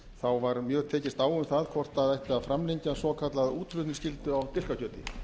sauðfjársamningsins var mjög tekist á um það hvort það ætti að framlengja svokallaða útflutningsskyldu á dilkakjöti